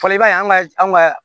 Fɔli b'a ye an ka anw ka